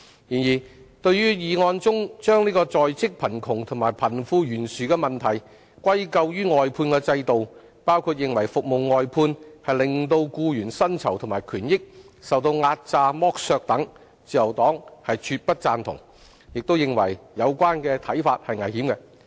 然而，對於議案中將在職貧窮和貧富懸殊的問題歸咎於外判制度，包括認為服務外判令僱員薪酬和權益受壓榨剝削等，自由黨絕不贊同，並認為有關看法是危險的。